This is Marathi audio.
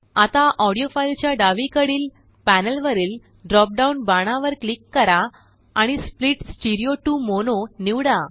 आता ऑडीओ फाईलच्या डावीकडील प्यानेलवरील ड्रोप डाऊन बाणावर क्लिक करा आणि स्प्लिट स्टीरिओ टु मोनो निवडा